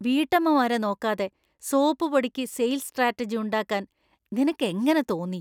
വീട്ടമ്മമാരെ നോക്കാതെ സോപ്പുപൊടിക്ക് sales strategy ഉണ്ടാക്കാൻ നിനക്ക് എങ്ങനെ തോന്നി?!